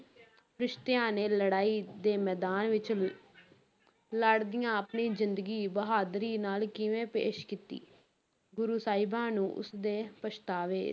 ਫਰਿਸ਼ਤਿਆਂ ਨੇ ਲੜਾਈ ਦੇ ਮੈਦਾਨ ਵਿੱਚ ਲ~ ਲੜਦਿਆਂ ਆਪਣੀ ਜ਼ਿੰਦਗੀ ਬਹਾਦਰੀ ਨਾਲ ਕਿਵੇਂ ਪੇਸ਼ ਕੀਤੀ, ਗੁਰੂ ਸਾਹਿਬਾਂ ਨੂੰ ਉਸ ਦੇ ਪਛਤਾਵੇ,